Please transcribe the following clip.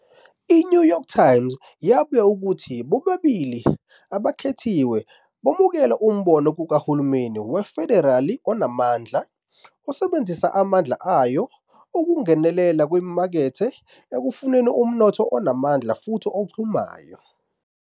"I-New York Times" yabika ukuthi bobabili abakhethiwe "bamukela umbono kahulumeni we-federali onamandla, osebenzisa amandla ayo ukungenela ezimakethe ekufuneni umnotho onamandla futhi ochumayo"